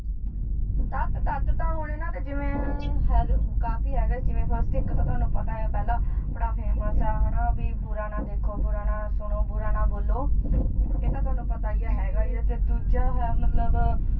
ਤੱਥ, ਤੱਥ ਤਾਂ ਹੁਣ ਇਹਨਾਂ ਦੇ ਜਿਵੇ ਹੈ ਤੇ ਕਾਫੀ ਹੈਗੇ ਜਿਵੇ first ਇੱਕ ਤਾਂ ਤੁਹਾਨੂੰ ਪਤਾ ਆ ਪਹਿਲਾ ਬੜਾ famous ਆ ਹ ਨ, ਵੀ ਬੁਰਾ ਨਾ ਦੇਖੋ, ਬੁਰਾ ਨਾ ਸੁਣੋ, ਬੁਰਾ ਨਾ ਬੋਲੋ ਇਹ ਤਾਂ ਤੁਹਾਨੂੰ ਪਤਾ ਹੀ ਹੈ ਹੈਗਾ ਈ ਏ, ਤੇ ਦੂਜਾ ਹੈ ਮਤਲਬ